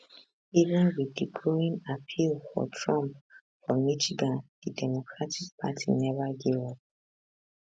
even wit di growing appeal for trump for michigan di democratic party neva give up